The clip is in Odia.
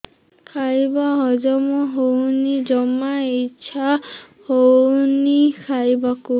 ଖାଇବା ହଜମ ହଉନି ଜମା ଇଛା ହଉନି ଖାଇବାକୁ